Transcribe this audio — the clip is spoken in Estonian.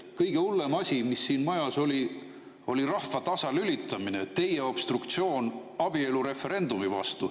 Kõige hullem asi, mis siin majas oli, oli rahva tasalülitamine, teie obstruktsioon abielureferendumi vastu.